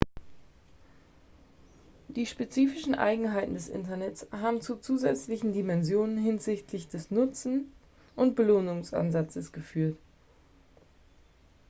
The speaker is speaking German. die spezifischen eigenheiten des internets haben zu zusätzlichen dimensionen hinsichtlich des nutzen und belohnungsansatzes geführt